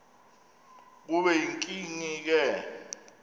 kube yinkinge ke